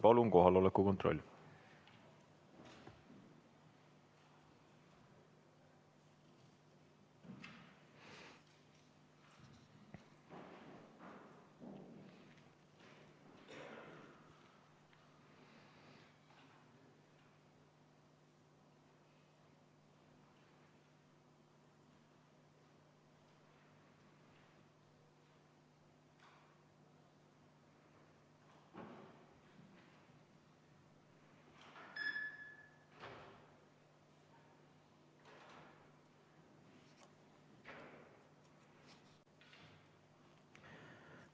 Palun kohaloleku kontroll!